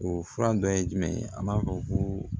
O fura dɔ ye jumɛn ye an b'a fɔ ko